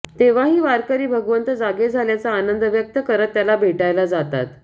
तेव्हाही वारकरी भगवंत जागे झाल्याचा आनंद व्यक्त करत त्याला भेटायला जातात